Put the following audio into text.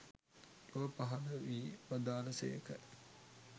ලොව පහළ වී වදාළ සේක.